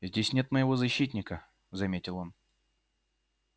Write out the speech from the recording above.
здесь нет моего защитника заметил он